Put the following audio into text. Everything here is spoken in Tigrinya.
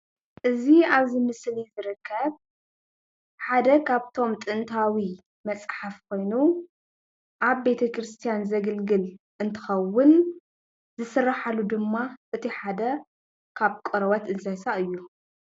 እዚ አብዚ ምስሊ ዝርከብ ሓደ ካብቶም ጥንታዊ መፅሓፍ ኮይኑ ኣብ ቤተክርሰትያን ዘግልግል እንትኸዉን ዝስርሓሉ ድማ እቲ ሓደ ካብ ቆርበት እንስሳ እዩ።